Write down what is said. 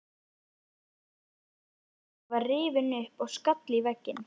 Hurðin á bakaríinu var rifin upp og skall í vegginn.